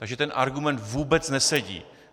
Takže ten argument vůbec nesedí.